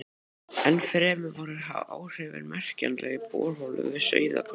Ennfremur voru áhrifin merkjanleg í borholum við Sauðárkrók.